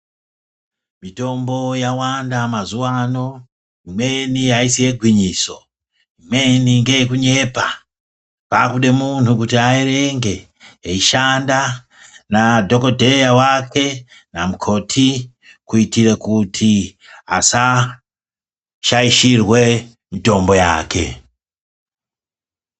Mitombo yawanda mazuva ano, imweni aisi yegwinyiso , imweni ngeyekunyepa ,pakude muntu kuti aerenge eishanda nadhokoteya wake namukoti kuitira kuti asashaishirwe mitombo yake .